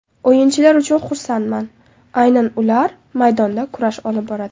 O‘yinchilar uchun xursandman, aynan ular maydonda kurash olib boradi.